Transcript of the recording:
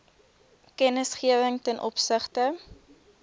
kennisgewing ten opsigte